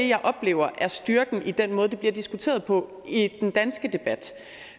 jeg oplever er styrken i den måde det bliver diskuteret på i den danske debat